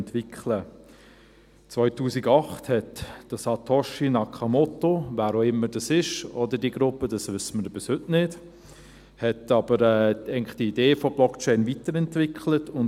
2008 entwickelte Satoshi Nakamoto – wer auch immer das ist oder diese Gruppe, das wissen wir bis heute nicht – diese Idee der Blockchain eigentlich weiter.